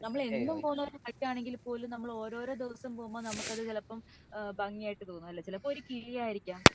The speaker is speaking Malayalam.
ഇപ്പൊ നമ്മൾ എന്നും പോവുന്ന വഴി ആണെങ്കിൽ പോലും നമ്മൾ ഓരോരോ ദിവസം പോകുമ്പോ നമുക് അത് ചിലപ്പോ ഭംഗി ആയിട്ട് തോന്നും അല്ലെ ചിലപ്പോ ഒരു കിളിയായിരികം